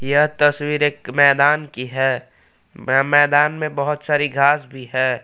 यह तस्वीर एक मैदान की है मै मैदान में बहोत सारी घास भी है।